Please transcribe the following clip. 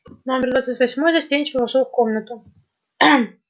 номер двадцать восьмой застенчиво вошёл в комнату